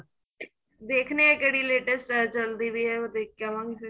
ਦੇਖਨੇ ਆ ਕਿਹੜੀ latest ਚਲਦੀ ਪੈ ਏ ਉਹ ਦੇਖ ਕੇ ਆਵਾ ਗਏ ਫੇਰ